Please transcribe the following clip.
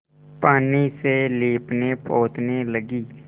पानी से लीपनेपोतने लगी